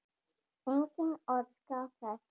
Enginn óskar þess.